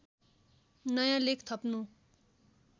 नयाँ लेख थप्नु